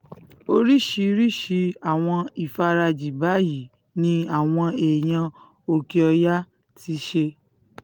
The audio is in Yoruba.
oríṣiríṣii àwọn ìfarajì báyìí ni àwọn èèyàn òkè-ọ̀yà ti ṣe